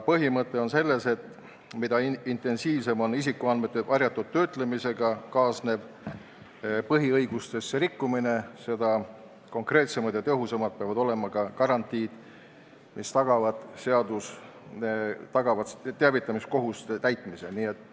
Põhimõte on selles, et mida intensiivsem on isikuandmete varjatud töötlemisega kaasnev põhiõiguste rikkumine, seda konkreetsemad ja tõhusamad peavad olema garantiid, mis tagavad teavitamiskohustuse täitmise.